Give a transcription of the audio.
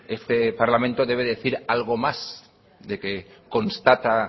este parlamento debe decir algo más que constata